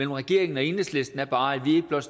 regeringen og enhedslisten er bare at